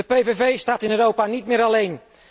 De PVV staat in Europa niet meer alleen.